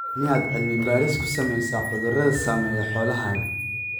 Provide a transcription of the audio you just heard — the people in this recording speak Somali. Miyaad cilmi baaris ku samaysaa cudurrada saameeya xoolahaaga?